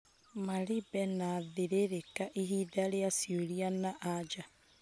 Maribe na Thĩrĩrĩka ihinda rĩa ciũria na anja